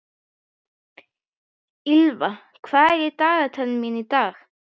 Ýlfa, hvað er í dagatalinu mínu í dag?